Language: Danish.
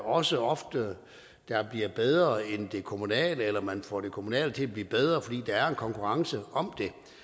også ofte bliver bedre end det kommunale eller at man får det kommunale til at blive bedre fordi der er en konkurrence om